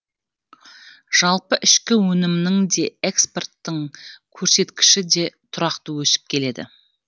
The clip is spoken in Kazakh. жалпы ішкі өнімнің де экспорттың көрсеткіші де тұрақты өсіп келеді